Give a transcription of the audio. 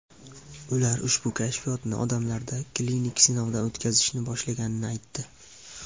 Ular ushbu kashfiyotni odamlarda klinik sinovdan o‘tkazishni boshlaganini aytdi.